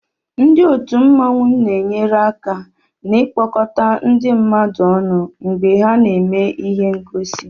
Ndị otù mmanwu na-enyere aka n'ikpọkọta ndị mmadu ọnụ mgbe ha na-eme ihe ngosi